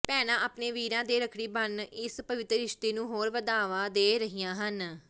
ਭੈਣਾਂ ਆਪਣੇ ਵੀਰਾਂ ਦੇ ਰੱਖੜੀ ਬੰਨ ਇਸ ਪਵਿੱਤਰ ਰਿਸ਼ਤੇ ਨੂੰ ਹੋਰ ਵਧਾਵਾ ਦੇ ਰਹੀਆਂ ਹਨ